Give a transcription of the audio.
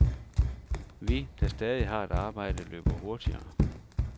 Vi, der stadig har et arbejde, løber hurtigere.